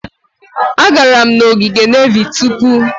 Agara m n'ogige nevy tupu.